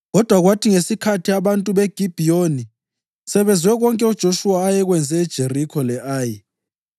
Kodwa kwathi ngesikhathi abantu beGibhiyoni sebezwe konke uJoshuwa ayekwenze eJerikho le-Ayi,